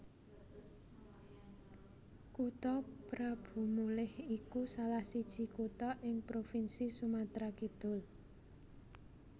Kutha Prabumulih iku salah siji kutha ing Provinsi Sumatra Kidul